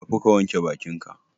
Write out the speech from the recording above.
Tafi ka wanke bakin ka.